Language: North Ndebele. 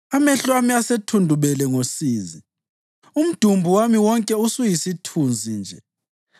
Amehlo ami asethundubele ngosizi; umdumbu wami wonke usuyisithunzi nje.